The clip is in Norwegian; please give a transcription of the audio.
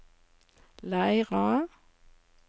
Leira